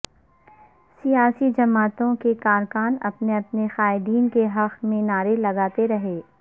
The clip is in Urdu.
سیاسی جماعتوں کے کارکن اپنے اپنے قائدین کے حق میں نعرے لگاتے رہے